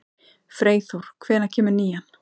Freyþór, hvenær kemur nían?